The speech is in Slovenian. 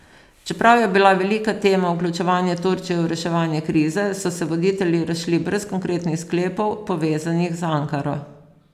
Čeprav je bila velika tema vključevanje Turčije v reševanje krize, so se voditelji razšli brez konkretnih sklepov, povezanih z Ankaro.